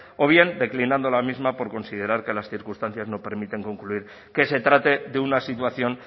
o bien declinado la misma por considerar que las importantes no permiten concluir que se trate de una situación